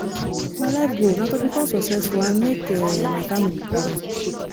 my life goal na to become successful and make um my family proud